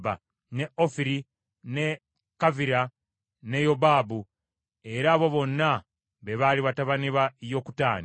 ne Ofiri, ne Kavira ne Yobabu. Era abo bonna be baali batabani ba Yokutaani.